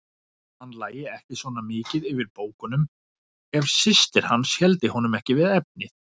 Hann lægi ekki svona mikið yfir bókunum ef systir hans héldi honum ekki við efnið.